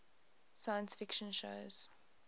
science fiction shows